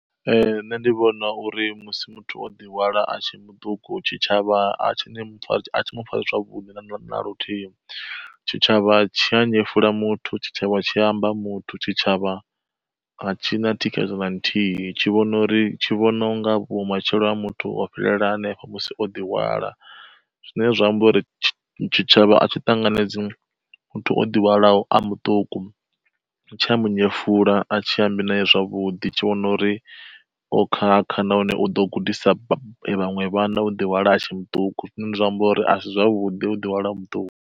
Nṋe ndi vhona uri musi muthu o ḓi hwala a tshe muṱuku, tshitshavha a tshi mufari zwavhuḓi naluthihi tshitshavha tshi a nyefula muthu, tshitshavha tshi amba muthu, tshitshavha a tshi na thikhedzo na nthihi tshi vhona uri tshi vhona u nga vhu matshelo ha muthu ho fhelela hanefho musi o ḓihwala. Zwine zwa amba uri tshitshavha atshi ṱanganedzi muthu o ḓihwalaho a muṱuku, tsha munyefula a tshi amba naye zwavhuḓi, tshi vhona uri o khakha nahone u ḓo gudisa vhaṅwe vhana u ḓi hwala a tshe muṱuku zwine zwa amba uri asi zwavhudi u ḓihwala a muṱuku.